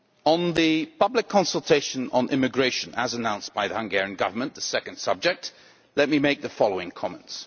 On the public consultation on immigration announced by the Hungarian Government the second subject let me make the following comments.